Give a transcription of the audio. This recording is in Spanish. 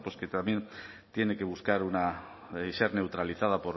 que también tiene que buscar una y ser neutralizada